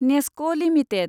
नेस्क' limited